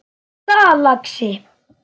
Hvað er það, lagsi?